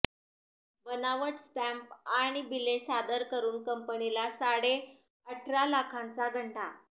बनावट स्टॅम्प आणि बिले सादर करुन कंपनीला साडेअठरा लाखांचा गंडा